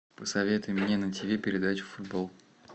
посоветуй мне на тв передачу футбол